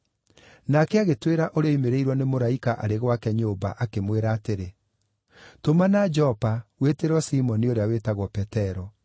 Nake agĩtwĩra ũrĩa oimĩrĩirwo nĩ mũraika arĩ gwake nyũmba, akĩmwĩra atĩrĩ, ‘Tũmana Jopa wĩtĩrwo Simoni ũrĩa wĩtagwo Petero.